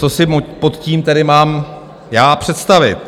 Co si pod tím tedy mám já představit?